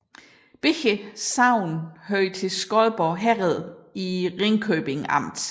Begge sogne hørte til Skodborg Herred i Ringkøbing Amt